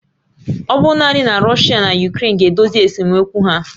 Ọ bụrụ naanị na Russia na Ukraine ga-edozi esemokwu ha